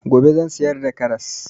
Gobe zan siyar da karras